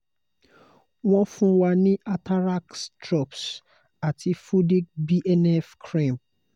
won fun wa ní atarax drops ati fudic bnf cream